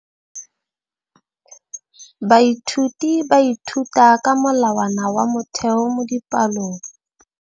Baithuti ba ithuta ka molawana wa motheo mo dipalong.